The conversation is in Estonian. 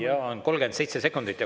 Jaa, 37 sekundit.